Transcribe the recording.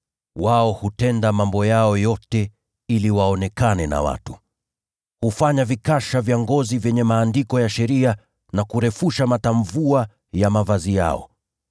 “Wao hutenda mambo yao yote ili waonekane na watu. Hupanua vikasha vyao vyenye maandiko ya sheria na kurefusha matamvua ya mavazi yao.